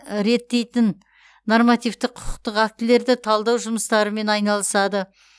реттейтін нормативтік құқықтық актілерді талдау жұмыстарымен айналысады